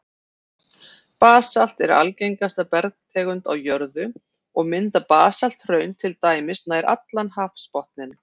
Basalt er algengasta bergtegund á jörðu, og mynda basalthraun til dæmis nær allan hafsbotninn.